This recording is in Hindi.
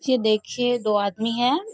ये देखिये दो आदमी है।